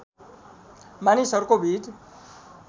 मानिसहरूको भिड